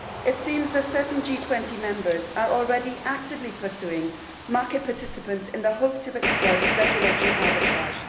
It seems that certain G20 members are already actively pursuing market participants in the hope of exploiting regulatory arbitrage.